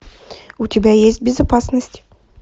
у тебя есть безопасность